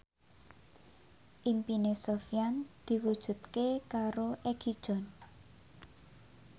impine Sofyan diwujudke karo Egi John